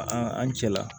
Aa an cɛla